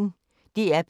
DR P1